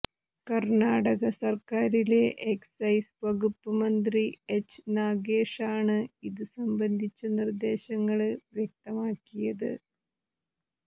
കര്ണാടക സര്ക്കാരിലെ എക്സൈസ് വകുപ്പ് മന്ത്രി എച്ച് നാഗേഷാണ് ഇതുസംബന്ധിച്ച നിര്ദേശങ്ങള് വ്യക്തമാക്കിയത്